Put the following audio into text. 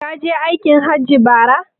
Kaje aikin hajji ne bara?